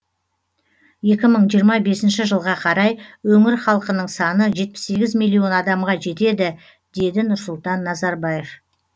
екі мың жиырма бесінші жылға қарай өңір халқының саны жетпіс сегіз миллион адамға жетеді деді нұрсұлтан назарбаев